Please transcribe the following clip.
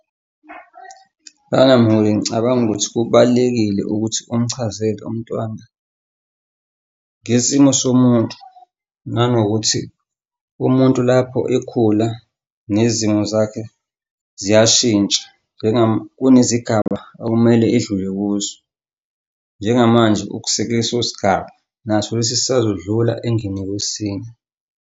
Lana mholi ngicabanga ukuthi kubalulekile ukuthi umchazele umntwana ngesimo somuntu nanokuthi umuntu lapho ekhula, nezimo zakhe ziyashintsha kunezigaba okumele edlule kuzo. Njengamanje ukusekuleso sigaba, naso lesi sisazodlula engene kwesinye.